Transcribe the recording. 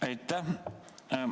Aitäh!